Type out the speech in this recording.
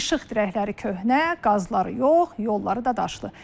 İşıq dirəkləri köhnə, qazları yox, yolları da daşlı.